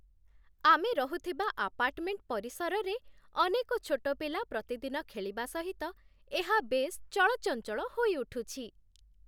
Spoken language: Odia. ଆମେ ରହୁଥିବା ଆପାର୍ଟମେଣ୍ଟ ପରିସରରେ ଅନେକ ଛୋଟ ପିଲା ପ୍ରତିଦିନ ଖେଳିବା ସହିତ ଏହା ବେଶ୍ ଚଳଚଞ୍ଚଳ ହୋଇଉଠୁଛି।